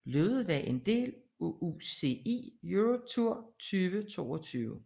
Løbet var en del af UCI Europe Tour 2022